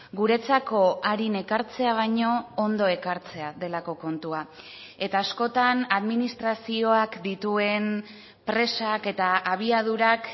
guretzako arin ekartzea baino ondo ekartzea delako kontua eta askotan administrazioak dituen presak eta abiadurak